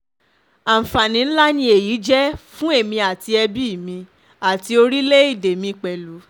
aǹfàani ńlá ni èyí jẹ́ fún èmi àti ẹbí mi àti orílẹ̀‐èdè mi mi pẹ̀lú